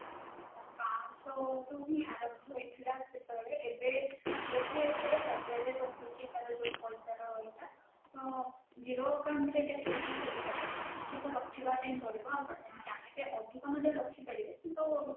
ପାଞ୍ଚଶହ ହିଁ ଆରମ୍ଭ ହେଇଥିଲା ସେତେବେଳେ ଏବେ ବୋଧେ ଏଥିରେ ହଜାରେ ରହୁଛି ତାର ଯୋଉ ପଇସାର ଇଏଟା ତ zero account ରେ ଏଇଟା କେବେବି ଖୋଲିହେବନି କିଛି ତ ରଖିବା ପାଇଁ ପଡିବ ଆପଣ ଯଦି ଚାହିଁବେ ଅଧିକ ରଖିପାରିବେ କିନ୍ତୁ